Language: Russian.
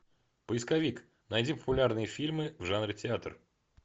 поисковик найди популярные фильмы в жанре театр